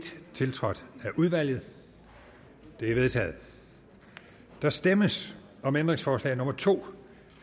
tiltrådt af udvalget det er vedtaget der stemmes om ændringsforslag nummer to